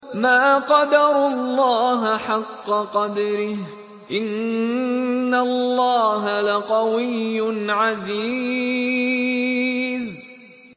مَا قَدَرُوا اللَّهَ حَقَّ قَدْرِهِ ۗ إِنَّ اللَّهَ لَقَوِيٌّ عَزِيزٌ